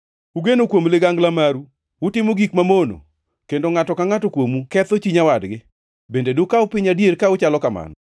Ugeno kuom ligangla maru, utimo gik mamono, kendo ngʼato ka ngʼato kuomu ketho chi nyawadgi. Bende dukaw piny adier ka uchalo kamano?’